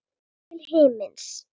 Upp til himins.